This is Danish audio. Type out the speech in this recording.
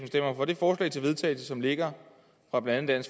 stemmer for det forslag til vedtagelse som ligger fra blandt andet